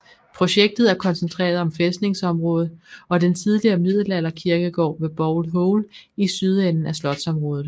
Projektet er koncentreret om fæstningsområdet og den tidligere middelalder kirkegård ved Bowl Hole i sydenden af slotsområdet